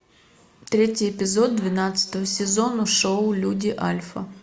третий эпизод двенадцатого сезона шоу люди альфа